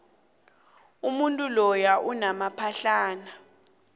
umuntu loya unamaphahlana